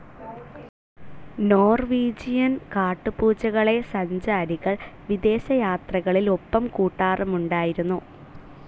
Norwegian കാട്ടുപൂച്ചകളെ സഞ്ചാരികൾ വിദേശയാത്രകളിൽ ഒപ്പംകൂട്ടാറുമുണ്ടായിരുന്നു.